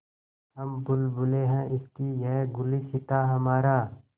हम बुलबुलें हैं इसकी यह गुलसिताँ हमारा